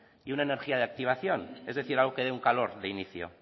y una energía de activación es decir algo que dé un calor de inicio